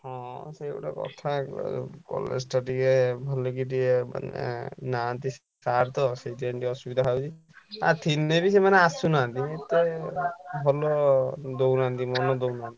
ହଁ ସେଇତ କଥା ଆଉ। ଆଉ college ଟା ଟିକେ ଭଲ କି ଟିକେ ମାନେ ନାହାନ୍ତି sir ତ ସେଇଥିପାଇଁ ଟିକେ ଅସୁବିଧା ହଉଛି। ଆଉ ଥିଲେ ବି ସେମାନେ ଆସୁନାହାନ୍ତି। ଆମ ତ ଭଲ ଦଉନାହାନ୍ତି ମନ ଦଉନାହାନ୍ତି।